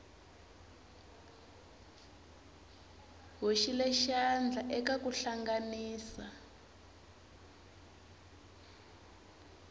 hoxile xandla eka ku hlanganisa